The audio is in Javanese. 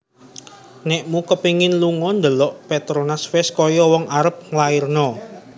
Nekmu kepingin lungo ndelok Petronas wes koyok wong arep nglairno